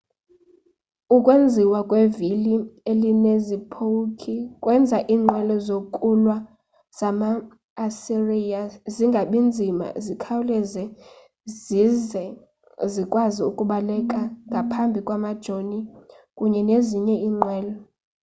ukwenziwa kwevili elinezipowukhi kwenza iinqwelo zokulwa zama-asiriya zingabi nzima zikhawuleze zize zikwazi ukubaleka ngaphambi kwamajoni kunye nezinye iinqwelo